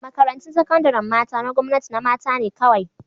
Makarantun sakandaren mata na gwamnati na mata ne kawai